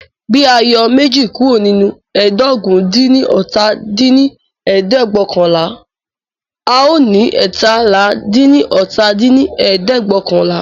Bí a yọ méjì kúrò nínú ẹ́ẹdógún-dín-ní-ọ́ta dín ní ẹ̀ẹ́dẹ́gbẹ́ọ̀kànlá, a ò ní eétalá-dín-ní-ọ́ta dín ní ẹ̀ẹ́dẹ́gbẹ́ọ̀kànlá